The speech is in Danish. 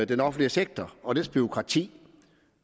den offentlige sektor og dets bureaukrati